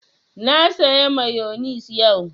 Na saya mayonis yau